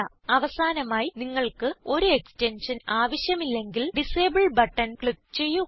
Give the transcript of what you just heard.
അവസാനമായി നിങ്ങൾക്ക് ഒരു എക്സ്റ്റൻഷൻ ആവശ്യമില്ലെങ്കിൽ ഡിസേബിൾ ബട്ടൺ ക്ലിക്ക് ചെയ്യുക